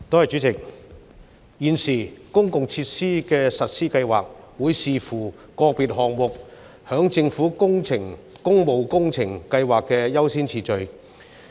主席，現時，公共設施的實施計劃會視乎個別項目在政府工務工程計劃的優先次序。